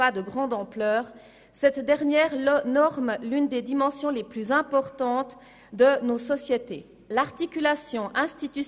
Also werden sie wahrscheinlich einem christlichen Wertekanon folgen.